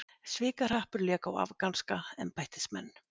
Svikahrappur lék á afganska embættismenn